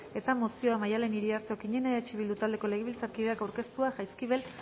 eta mozioa maddalen iriarte okiñena eh bildu taldeko legebiltzarkideak aurkeztua jaizkibel